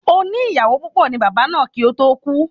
Oní ìyàwó púpọ̀ ni Bàbá náà kí o to ku ni